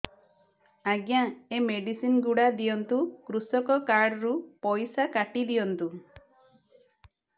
ଆଜ୍ଞା ଏ ମେଡିସିନ ଗୁଡା ଦିଅନ୍ତୁ କୃଷକ କାର୍ଡ ରୁ ପଇସା କାଟିଦିଅନ୍ତୁ